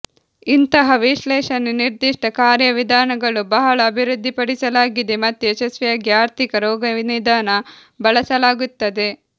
ಇಂತಹ ವಿಶ್ಲೇಷಣೆ ನಿರ್ದಿಷ್ಟ ಕಾರ್ಯವಿಧಾನಗಳು ಬಹಳ ಅಭಿವೃದ್ಧಿಪಡಿಸಲಾಗಿದೆ ಮತ್ತು ಯಶಸ್ವಿಯಾಗಿ ಆರ್ಥಿಕ ರೋಗನಿದಾನ ಬಳಸಲಾಗುತ್ತದೆ